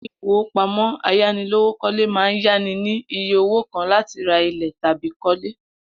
Ilé ìfowópamó̩ ayánilówókó̩le máa ń yá ni ní iye owó kan láti ra ilè̩ tàbí kó̩lé